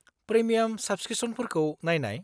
Premium साब्सक्रिप्सनफोरखौ नायनाय?